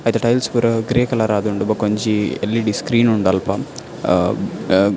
ಐತ ಟೈಲ್ಸ್ ಪೂರ grey colour ಆದುಂಡು ಬಕೊಂಜಿ ಎಲ್.ಈ.ಡಿ ಸ್ಕ್ರೀನ್ ಉಂಡು ಅಲ್ಪ ಅಹ್ ಅಹ್ --